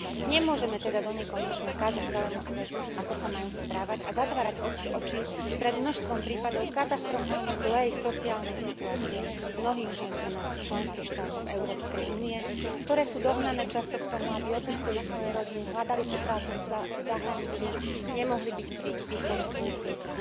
Nemôžeme teda do nekonečna kázať celému svetu, ako sa majú správať, a zatvárať oči pred množstvom prípadov katastrofálne zlej sociálnej situácie mnohých žien u nás v členských štátoch EÚ, ktoré sú dohnané často k tomu, aby opustili svoje rodiny, hľadali si prácu v zahraničí, nemohli byť pri výchove svojich detí.